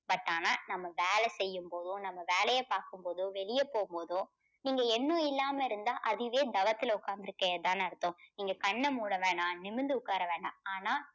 but ஆனா நம்ம வேலை செய்யும் போதோ நம்ம வேலையை பார்க்கும் போதோ வெளியே போகும் போதோ நீங்க எண்ணம் இல்லாம இருந்தா அதுவே தவத்தில் உக்காந்து இருக்கிறதா தானே அர்த்தம். நீங்க கண்ண மூட வேணாம் நிமிர்ந்து உக்கார வேணாம். ஆனா